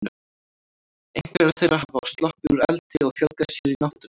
Einhverjar þeirra hafa sloppið úr eldi og fjölgað sér í náttúrunni.